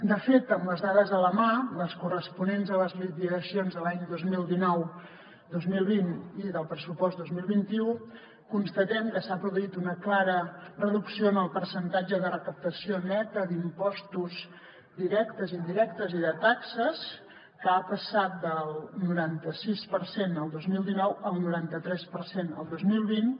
de fet amb les dades a la mà les corresponents a les liquidacions dels anys dos mil dinou dos mil vint i del pressupost dos mil vint u constatem que s’ha produït una clara reducció en el percentatge de recaptació neta d’impostos directes i indirectes i de taxes que ha passat del noranta sis per cent el dos mil dinou al noranta tres per cent el dos mil vint